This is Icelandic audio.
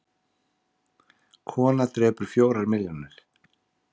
Kona drepur fjórar milljónir